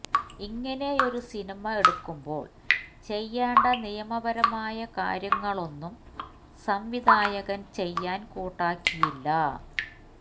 ഇങ്ങനെയൊരു സിനിമ എടുക്കുമ്പോള് ചെയ്യേണ്ട നിയമപരമായ കാര്യങ്ങളൊന്നും സംവിധായകന് ചെയ്യാന് കൂട്ടാക്കിയില്ല